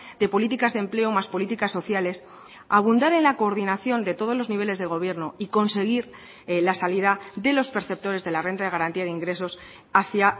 de políticas de empleo más políticas sociales abundar en la coordinación de todos los niveles de gobierno y conseguir la salida de los perceptores de la renta de garantía de ingresos hacia